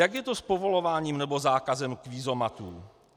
Jak je to s povolováním nebo zákazem kvízomatů?